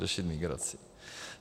Řešit migraci.